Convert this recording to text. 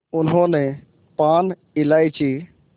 उन्होंने पान इलायची